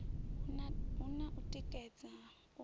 hu na u tikedza u